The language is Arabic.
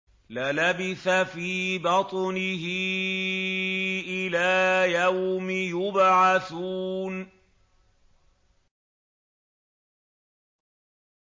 لَلَبِثَ فِي بَطْنِهِ إِلَىٰ يَوْمِ يُبْعَثُونَ